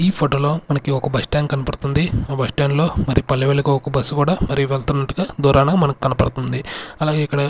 ఈ ఫోటో లో మనకి ఒక బస్ స్టాండ్ కనపడుతుంది ఆ బస్ స్టాండ్ లో మరి పల్లెవలకు ఒక బస్ కూడా మరి వెళ్తున్నట్టుగా దూరాన మనకి కనపడుతుంది అలాగే ఇక్కడ.